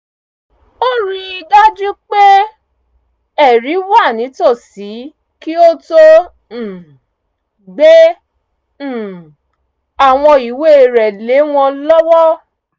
ó rí i dájú pé ẹ̀rí wà nìtòsí kí ó tó um gbé um àwọn ìwé rẹ̀ lé wọn lọ́wọ́